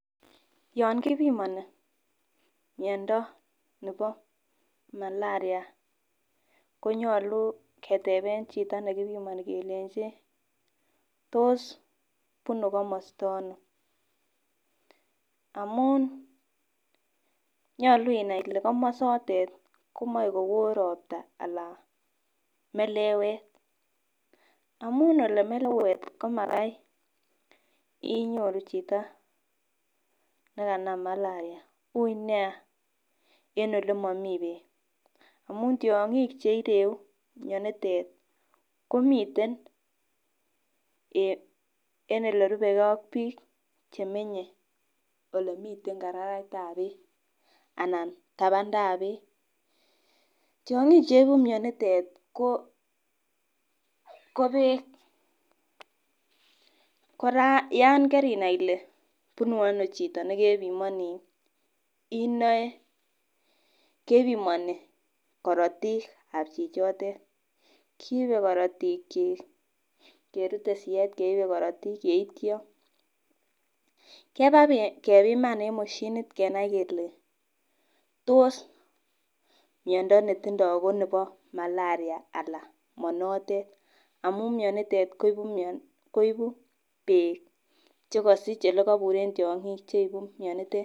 yon kipimoni miondo nebo malaria, konyolu keteben chito nekipimoni kelenji tos bunu ono inendet amun nyolu inai ile komosote komoi kowo ropta anan melewet, amun le melewet komagai inyoru chito nekanam malaria ui nia en ole momii beek amu tyonkik cheireu mionitet tii komiten en ole rubek gee ak bik chemenye olemiten karaetab beek anan taandap beek. Tyonkik cheibu mionitet o beek, koraa yon kerinai ile bunu ono chito nekepimoni inoe kepimoni korotikab chichotet. kiibe korotik chik kerute siyet keibe korotik yeityo kebakepiman en mashinit kenai kele tos miondo netindo ko nebo malaria alan mo notet amun mioniton koibu beek chekosich yekoburen tyonkik cheibu mionitet.